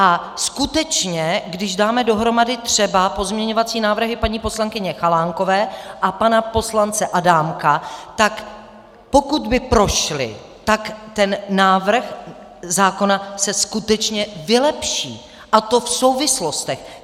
A skutečně když dáme dohromady třeba pozměňovací návrhy paní poslankyně Chalánkové a pana poslance Adámka, tak pokud by prošly, tak ten návrh zákona se skutečně vylepší, a to v souvislostech.